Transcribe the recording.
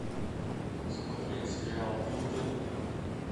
смотреть сериал дылды